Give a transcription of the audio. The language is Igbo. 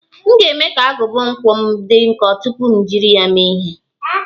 M ga-eme ka agụba nkwọ m dị nkọ tupu m jiri ya mee ihe.